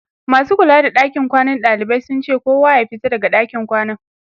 masu kula da ɗakin kwanan ɗalibai sun ce kowa ya fita daga ɗakin kwanan